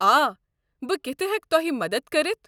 آ، بہٕ کِتھہٕ ہٮ۪کہٕ تۄہہ مدتھ کٔرِتھ؟